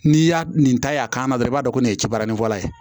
N'i y'a nin ta a kan na dɔrɔn i b'a dɔn ko nin ye baani fɔla ye